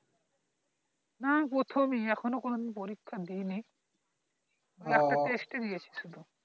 না প্রথমে এখনো কোনদিন পরীক্ষা দিইনি একটা test ই দিয়েছে শুধু